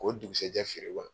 Ko dukusajɛ feere wa ?